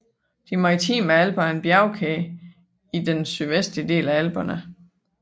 De maritime Alper er en bjergkæde i den sydvestlige del af Alperne